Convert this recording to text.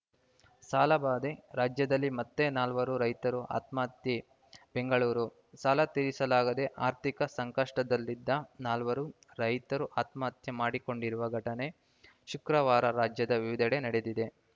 ಸಾಲಬಾಧೆ ರಾಜ್ಯದಲ್ಲಿ ಮತ್ತೆ ನಾಲ್ವರು ರೈತರು ಆತ್ಮಹತ್ಯೆ ಬೆಂಗಳೂರು ಸಾಲ ತೀರಿಸಲಾಗದೇ ಆರ್ಥಿಕ ಸಂಕಷ್ಟದಲ್ಲಿದ್ದ ನಾಲ್ವರು ರೈತರು ಆತ್ಮಹತ್ಯೆ ಮಾಡಿಕೊಂಡಿರುವ ಘಟನೆ ಶುಕ್ರವಾರ ರಾಜ್ಯದ ವಿವಿಧೆಡೆ ನಡೆದಿದೆ